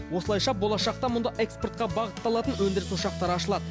осылайша болашақта мұнда экспортқа бағытталатын өндіріс ошақтары ашылады